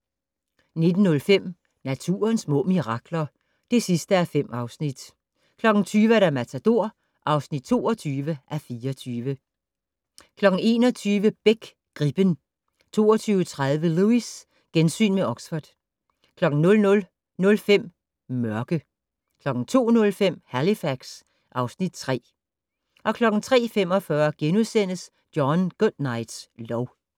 19:05: Naturens små mirakler (5:5) 20:00: Matador (22:24) 21:00: Beck: Gribben 22:30: Lewis: Gensyn med Oxford 00:05: Mørke 02:05: Halifax (Afs. 3) 03:45: John Goodnights lov *